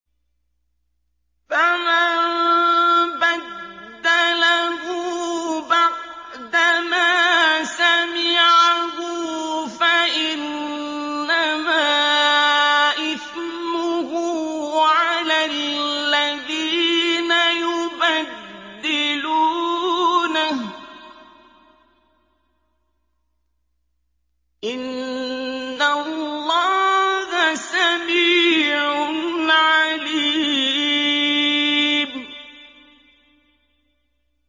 فَمَن بَدَّلَهُ بَعْدَمَا سَمِعَهُ فَإِنَّمَا إِثْمُهُ عَلَى الَّذِينَ يُبَدِّلُونَهُ ۚ إِنَّ اللَّهَ سَمِيعٌ عَلِيمٌ